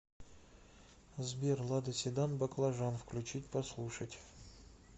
сбер лада седан баклажан включить послушать